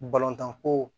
Balontan ko